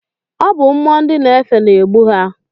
Ọ bụ mmụọ ndị na-efe na-egbu ha.